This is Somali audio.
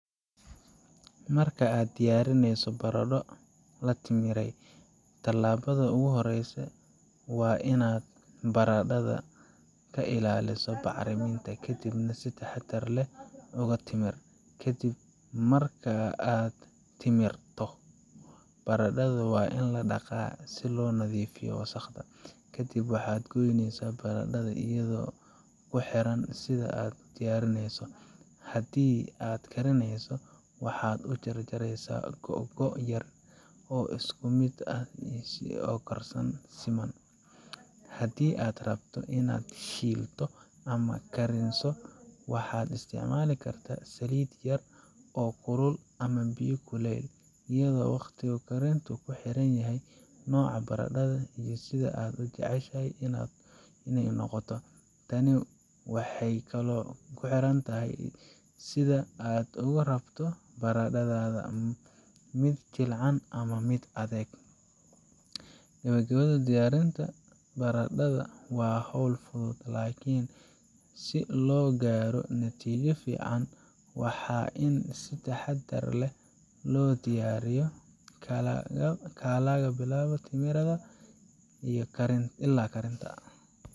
Marka aad diyaarinayso baradho la timirey, tallaabada ugu horeysa waa in aad baradhada ka ilaaliso bacriminta, kadibna si taxaddar leh uga timir. Ka dib marka aad timirto, baradhada waa in la dhaqaa si loo nadiifiyo wasakhda. Kadib, waxaad goyneysaa baradhada iyadoo ku xiran sida aad u diyaarineyso haddii aad karineyso, waxaad u jaraysaa googo' yar oo isku mid ah si ay u karsamaan si siman. Haddii aad rabto in aad shiilto ama kariniso, waxaad isticmaali kartaa saliid yar oo kulul ama biyo kuleyl ah, iyadoo waqtiga karintu ku xiran yahay nooca baradhada iyo sida aad u jeceshahay inay noqoto. Tani waxay kaloo ku xirnaan tahay sida aad ugu rabto baradhadaada mid jilicsan ama mid adag. Gabagabadii, diyaarinta baradhada waa hawl fudud, laakiin si loo gaaro natiijo fiican, waa in si taxaddar leh loo diyaariyo, laga bilaabo timirida ilaa karinta.